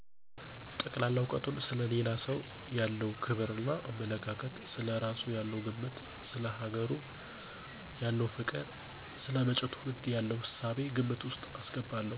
ጠቅላላ እውቀቱን፣ ሰለ ሌላ ሰው ያለው ክብር እና አመለካከት፣ ስለ እራሱ ያለው ግምት፣ ሰለ ሀገሩ ያለው ፍቅር፣ ለመጭው ትውልድ የለውን እሳቤ ግምት ወስጥ አስገባለሁ።